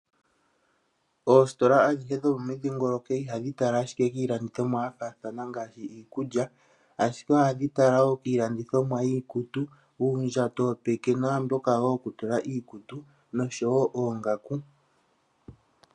Oositola adhihe dho momudhingoloko ihadhi tala ashike iilandithomwa yafathana ngaashi iikulya oshike ohadhi tala kiilandithomwa yiikutu, uundjato wopeke namboka wo woku tula iikutu noshowo oongaku.